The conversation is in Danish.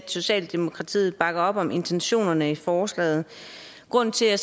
socialdemokratiet bakker op om intentionerne i forslaget grunden til at